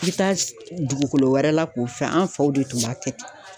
I bɛ taa dugukolo wɛrɛ la k'o fɛn, an faw de tun b'a kɛ ten.